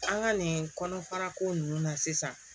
An ka nin kɔnɔfara ko ninnu na sisan